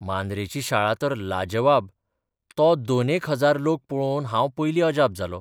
मांद्रेची शाळा तर लाजवाब तो दोनेक हजार लोक पळोवनूच हांव पयलीं अजाप जालों.